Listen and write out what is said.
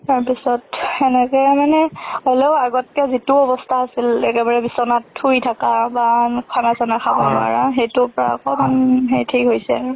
তাৰ পিছত হেনেকে মানে হলেও আগতকে জিতু অবস্থা আছিল একেবাৰে বিচনাত শুই থকা, বা খানা চানা খাব নোৱাৰা, হেইটোৰ পৰা অকমান ঠিক হৈছে আৰু।